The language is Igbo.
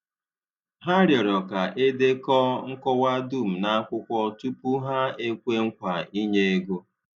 Hà rịọrọ ka e dekọọ nkọwa dum n’akwụkwọ tupu hà ekwe nkwa ị̀nye ego.